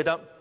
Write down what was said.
一點？